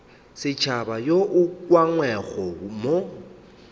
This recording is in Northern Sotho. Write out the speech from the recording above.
setšhaba wo o ukangwego mo